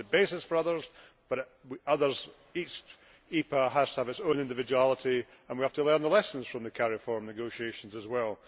It could be the basis for others, but each EPA has to have its own individuality, and we have to learn the lessons from the CARIFORUM negotiations as well.